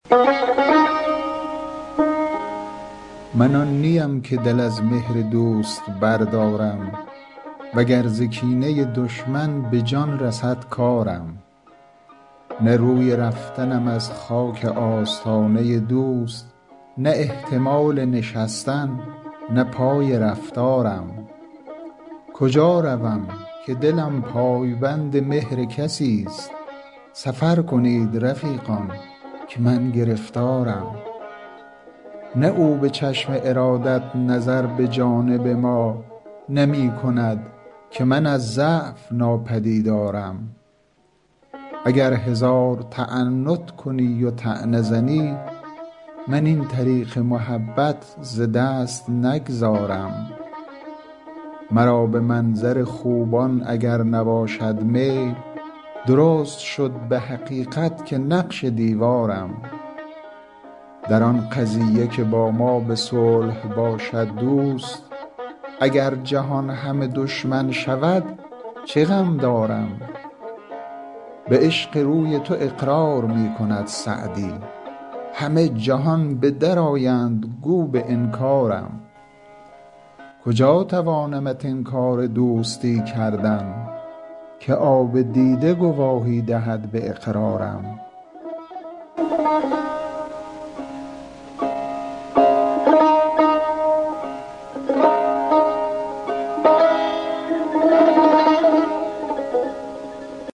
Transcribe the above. من آن نی ام که دل از مهر دوست بردارم و گر ز کینه دشمن به جان رسد کارم نه روی رفتنم از خاک آستانه دوست نه احتمال نشستن نه پای رفتارم کجا روم که دلم پای بند مهر کسی ست سفر کنید رفیقان که من گرفتارم نه او به چشم ارادت نظر به جانب ما نمی کند که من از ضعف ناپدیدارم اگر هزار تعنت کنی و طعنه زنی من این طریق محبت ز دست نگذارم مرا به منظر خوبان اگر نباشد میل درست شد به حقیقت که نقش دیوارم در آن قضیه که با ما به صلح باشد دوست اگر جهان همه دشمن شود چه غم دارم به عشق روی تو اقرار می کند سعدی همه جهان به در آیند گو به انکارم کجا توانمت انکار دوستی کردن که آب دیده گواهی دهد به اقرارم